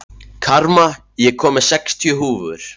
Karma, ég kom með sextíu húfur!